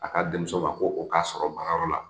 A ka denmuso ma ko o k'a sɔrɔ baarayɔrɔ la